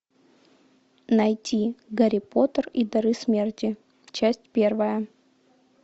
найти гарри поттер и дары смерти часть первая